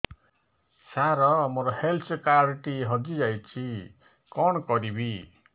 ସାର ମୋର health card ଟି ହଜି ଯାଇଛି କଣ କରିବି